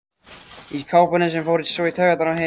Í kápunni sem fór svo í taugarnar á Heiðu.